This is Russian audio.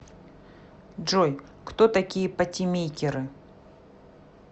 джой кто такие патимейкеры